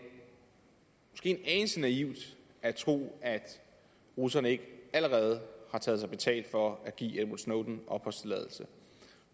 anelse naivt at tro at russerne ikke allerede har taget sig betalt for at give edward snowden opholdstilladelse